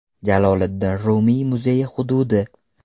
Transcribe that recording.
Jaloliddin Rumiy muzeyi hududi.